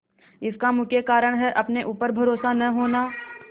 इसका मुख्य कारण है अपने ऊपर भरोसा न होना